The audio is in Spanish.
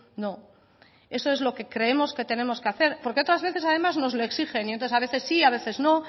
no eso es lo que creemos que tenemos que hacer porque otras veces además nos lo exigen y entonces a veces sí a veces no